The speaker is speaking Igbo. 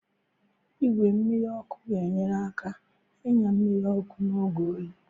Igwe mmiri ọkụ ga-enyere aka inye mmiri ọkụ n'oge oyi.